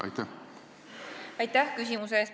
Aitäh küsimuse eest!